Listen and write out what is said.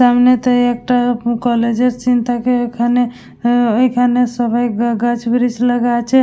সামনে তাই একটা কলেজের সিন থাকে এখানে আ এখানে সবাই গাছ ব্রিজ লাগা আছে--